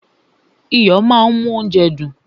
Iyo máa ń mú óúnjẹ dùn.